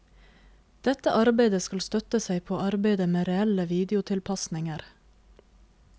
Dette arbeidet skal støtte seg på arbeidet med reelle videotilpasninger.